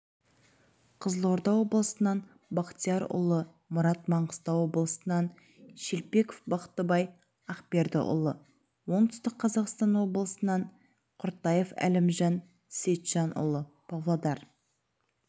қызылорда облысынан бақтиярұлы мұрат маңғыстау облысынан шелпеков бақтыбай ақбердіұлы оңтүстік қазақстан облысынан құртаев әлімжан сейітжанұлы павлодар